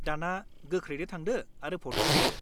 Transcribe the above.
दाना गोख्रैनो थांदो आरो भटखौ होदो।